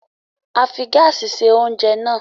A fi gáásì se oúnjẹ náà.